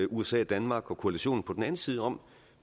usa danmark og koalitionen på den anden side om